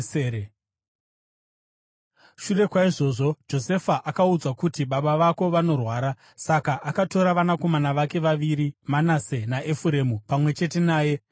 Shure kwaizvozvo Josefa akaudzwa kuti, “Baba vako vanorwara.” Saka akatora vanakomana vake vaviri Manase naEfuremu pamwe chete naye.